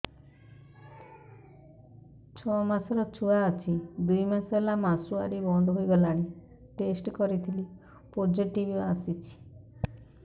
ଛଅ ମାସର ଛୁଆ ଅଛି ଦୁଇ ମାସ ହେଲା ମାସୁଆରି ବନ୍ଦ ହେଇଗଲାଣି ଟେଷ୍ଟ କରିଥିଲି ପୋଜିଟିଭ ଆସିଛି